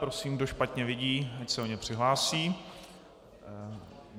Prosím, kdo špatně vidí, ať se o ně přihlásí.